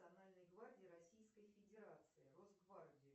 национальной гвардии российской федерации росгвардию